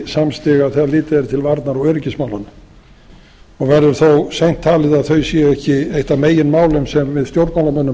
samstiga þegar litið er til varnar og öryggismálanna og verður þó seint talið að þau séu ekki eitt af meginmálum sem við stjórnmálamönnum